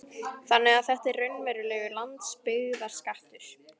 Kristján: Þannig að þetta er raunverulegur landsbyggðarskattur?